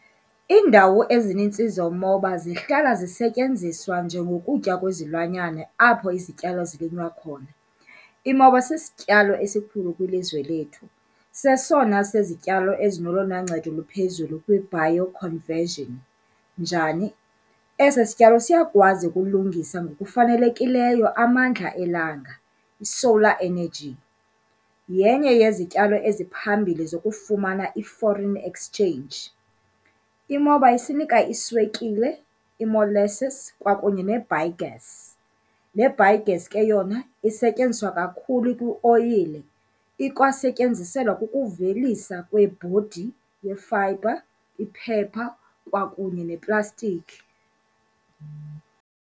Iindawo ezinintsi zomoba zihlala zisetyenziswa njengokutya kwezilwanyana apho izityalo zilinywa khona. Imoba sisityalo esikhulu kwilizwe lethu, sesona sezityalo ezinolona ncedo luphezulu kwi-bio conversion. Njani? Esi sityalo siyakwazi ukulungisa ngokufanelekileyo amandla elanga, i-solar energy, yenye yezityalo eziphambili zokufumana i-foreign exchange. Imoba isinika iswekile, i-molasses kwakunye ne-biogas. Le biogas ke yona isetyenziswa kakhulu kwioyile, ikwasetyenziselwa ukuvelisa kwebhodi, yefayibha, iphepha kwakunye neplastiki.